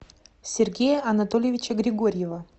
сергея анатольевича григорьева